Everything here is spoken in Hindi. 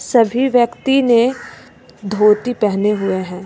सभी व्यक्ति ने धोती पहने हुए हैं।